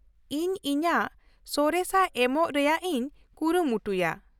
-ᱤᱧ ᱤᱧᱟᱹᱜ ᱥᱚᱨᱮᱥᱟᱜ ᱮᱢᱚᱜ ᱨᱮᱭᱟᱜ ᱤᱧ ᱠᱩᱨᱩᱢᱩᱴᱩᱭᱟ ᱾